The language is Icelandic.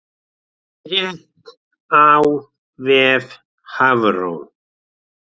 Frétt á vef Hafró